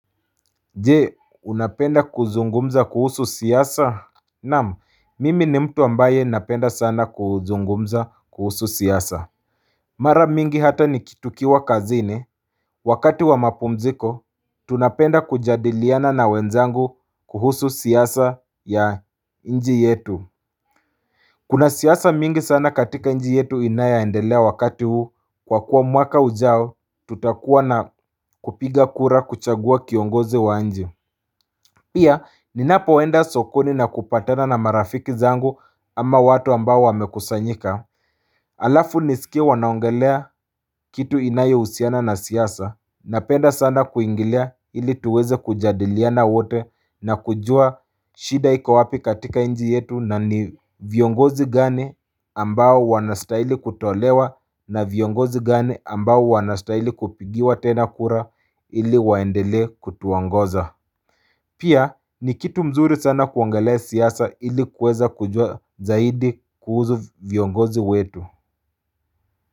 Je? Unapenda kuzungumza kuhusu siasa? Naam mimi ni mtu ambaye napenda sana kuzungumza kuhusu siasa. Mara mingi hata nikitukiwa kazini Wakati wa mapumziko tunapenda kujadiliana na wenzangu kuhusu siasa ya nji yetu. Kuna siasa mingi sana katika nji yetu inayoendelea wakati huu kwa kuwa mwaka ujao tutakuwa na kupiga kura kuchagua kiongozi wa nji. Pia ninapoenda sokoni na kupatena na marafiki zangu ama watu ambao wamekusanyika alafu niskie wanaongelea kitu inayohusiana na siasa, napenda sana kuingilia ili tuweze kujadiliana wote na kujua shida iko wapi katika inji yetu na ni viongozi gani ambao wanastaili kutolewa na viongozi gani ambao wanastaili kupigiwa tena kura ili waendelee kutuongoza Pia ni kitu mzuri sana kuongelea siasa ili kuweza kujua zaidi kuhuzu viongozi wetu.